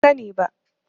Ban sani ba.